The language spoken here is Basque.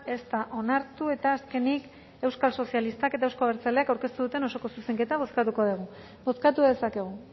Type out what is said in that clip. ez da onartu eta azkenik euskal sozialistak eta euzko abertzaleak aurkeztu duten osoko zuzenketa bozkatuko dugu bozkatu dezakegu